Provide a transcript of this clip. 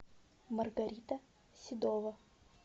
маргарита седова